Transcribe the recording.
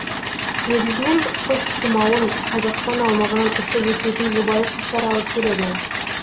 негізінен құс тұмауын қазақстан аумағынан ұшып өтетін жұбайы құстар алып келеді